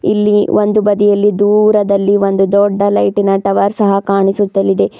ಇಲ್ಲಿ ಒಂದು ಬದಿಯಲ್ಲಿ ದೂರದಲ್ಲಿ ಒಂದು ದೊಡ್ಡ ಲೈಟಿನ ಟವರ್ ಸಹಾ ಕಾಣಿಸುತ್ತಲಿದೆ.